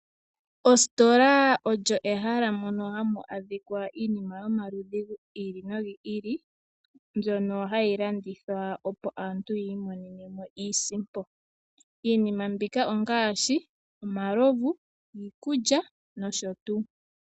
Ositola olyo ehala mono hamu adhikwa iinima yomaludhi gi ili nogi ili mbyono hayilandithwa opo aantu yiimonenemo iisimpo, iinima mbika ongaashi, omalovu, iikulya, nosho tu.